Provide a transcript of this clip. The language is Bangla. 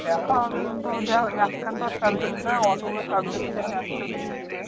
দেখা হবে কিন্তু দেখ এক খান তো আর subject নয় অতগুলো subject যখন একবারে দিয়ে দেবে,